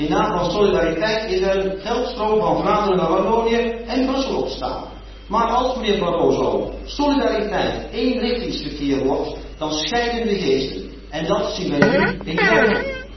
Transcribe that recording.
In naam van solidariteit is er een geldstroom van Vlaanderen naar Wallonië en Brussel ontstaan, maar, mijnheer Barroso, als solidariteit eenrichtingsverkeer wordt, dan scheiden de geesten en dat zien wij nu in België.